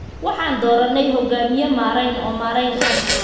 Waxaan dooranay hoggaamiye maareyn oo maareyn ah.